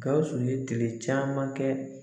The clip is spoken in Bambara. Gawusu ye tile caman kɛ.